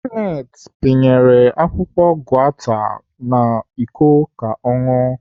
Kenneth panyere akwụkwọ gauta n'Iko ka ọ ṅụọ.